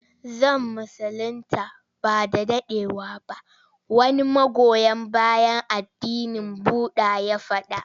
Zan musulinta ba da daɗewa ba wani magoya bayan addinin budda ya faɗa.